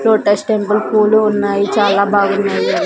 Lotus temple పూలు ఉన్నాయి చాలా బాగున్నాయి.